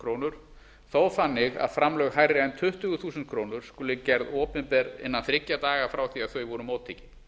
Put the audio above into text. krónur þó þannig að framlög hærri en tuttugu þúsund krónur skulu gerð opinber innan þriggja daga frá því að þau voru móttekin